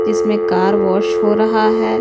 जिसमें car wash हो रहा है।